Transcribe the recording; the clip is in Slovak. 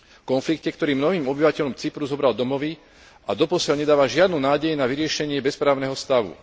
Konflikte, ktorý mnohým obyvateľom Cypru zobral domovy a doposiaľ nedáva žiadnu nádej na vyriešenie bezprávneho stavu.